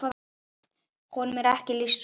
Honum er lýst svona